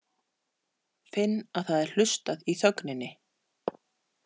Finn að það er hlustað í þögninni.